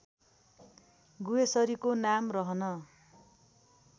गुह्येश्वरी नाम रहन